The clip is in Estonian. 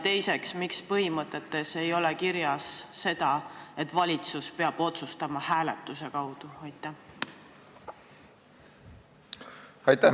Teiseks, miks ei ole põhimõtetes kirjas seda, et valitsus peab hääletuse kaudu otsustama?